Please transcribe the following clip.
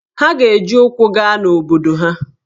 Ha ga-eji ụkwụ gaa n’obodo ha.